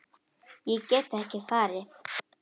Ég get ekki farið.